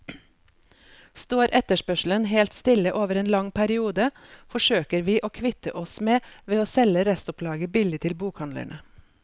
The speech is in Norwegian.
Står etterspørselen helt stille over en lang periode, forsøker vi å kvitte oss med ved å selge restopplaget billig til bokhandlene.